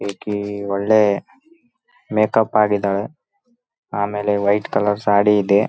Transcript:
ಭರತನಾಟ್ಯ ಅನ್ನೋದು ಒಳ್ಳೆ ಕಲೆ ಅದು. ಅದು ಆಗಿನ ಕಾಲದಿಂದಾನು ಅ ಒಳ್ಳೆ ಕಲೆ ಆಗೈತೆ. ಮತ್ತೆ ಈಗ್ಲೂ ಆ ಕಲೆನಾ ಮುಂದ್ವರಿಸ್ಕೊಂಡ್ ಹೋಗಿದಾರೆ.